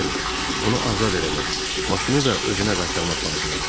Bəli, onu azad eləmək, maşını da özünə qaytarmaq lazımdır.